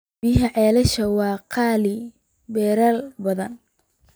Biyaha ceelasha waa qaali beeralay badan.